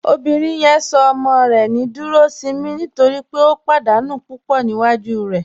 Obìnrin yẹn sọ ọmọ rẹ ní Dúròṣìnmí nítorí pé ó pádànù púpọ́ níwájú rẹ.